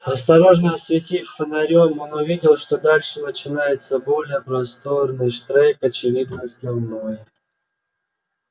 осторожно осветив фонарём он увидел что дальше начинается более просторный штрек очевидно основной